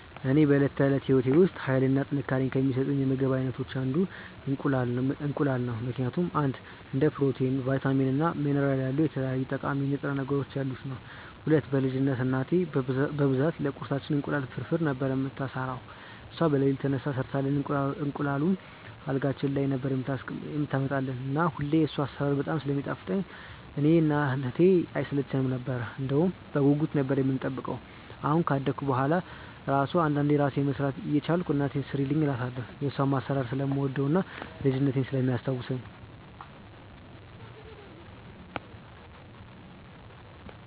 ለኔ በዕለት ተዕለት ሕይወቴ ውስጥ ኃይልን እና ጥንካሬን ከሚሰጡኝ የምግብ አይነቶች አንዱ እንቁላል ነው ምክንያቱም፦ 1. እንደ ፕሮቲን፣ ቫይታሚን እና ሚኒራል ያሉ የተለያዩ ጠቃሚ ንጥረ ነገሮች ያሉት ነዉ። 2. በ ልጅነትቴ እናቴ በብዛት ለቁርሳችን እንቁላል ፍርፍር ነበር የምትሰራው እሷ በለሊት ተነስታ ሰርታልን እንቁላሉን አልጋችን ላይ ነበር የምታመጣልን እና ሁሌ የሷ አሰራር በጣም ስለሚጣፍጥ እኔ እና እህቴ አይሰለቸነም ነበር እንደውም በጉጉት ነበር የምንጠብቀው አሁን ካደኩ በሁዋላ እራሱ አንዳንዴ እራሴ መስራት እየቻልኩ እናቴን ስሪልኝ እላታለው የሷን አሰራር ስለምወደው እና ልጅነቴን ስለሚያስታውሰኝ።